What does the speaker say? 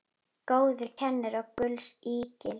Góður kennari er gulls ígildi.